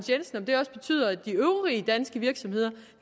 de øvrige danske virksomheder